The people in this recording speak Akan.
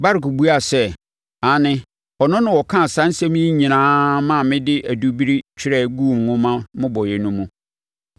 Baruk buaa sɛ, “Aane, ɔno na ɔkaa saa nsɛm yi nyinaa ma mede adubiri twerɛ guu nwoma mmobɔeɛ no mu.”